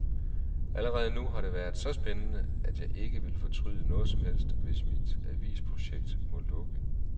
Allerede nu har det været så spændende, at jeg ikke vil fortryde noget som helst, hvis mit avisprojekt må lukke.